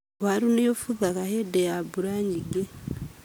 Waru nĩ ũbuthaga hĩndĩ ya mbura nyingĩ.